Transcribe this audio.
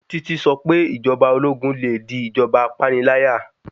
Títí sọ pé Ìjọba ológun le di ìjọba apániláyà.